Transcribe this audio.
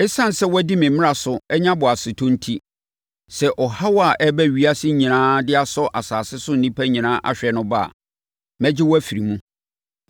Esiane sɛ woadi me mmara so anya boasetɔ enti, sɛ ɔhaw a ɛreba ewiase nyinaa de asɔ asase so nnipa nyinaa ahwɛ no ba a, mɛgye wo afiri mu.